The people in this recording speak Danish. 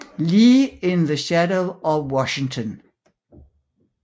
Lee in the Shadow of Washington